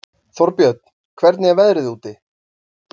Þórbjörn, hvernig er veðrið úti?